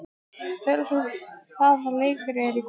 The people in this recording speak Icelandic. Hjörleif, hvaða leikir eru í kvöld?